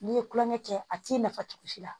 N'i ye tulonkɛ kɛ a t'i nafa cogo si la